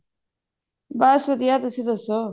ਬਸ ਵਧੀਆ ਤੁਸੀਂ ਦੱਸੋ